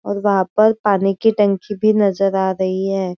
और वहा पर पानी की टंकी भी नजर आ रही है।